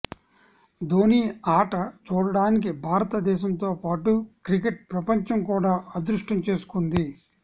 ధోనీ ఆట చూడటానికి భారత దేశంతో పాటు క్రికెట్ ప్రపంచం కూడా అదృష్టం చేసుకుంది